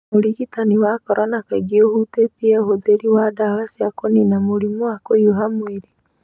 Ũrigitani wa corona kaingĩ ũhutĩtie ũhũthĩri wa ndawa cia kũnina mũrimũ wa kũhiũha mwĩrĩ.